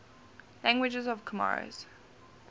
languages of comoros